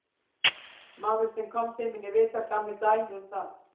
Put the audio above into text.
Maður sem kom til mín í viðtal gaf mér dæmi um það.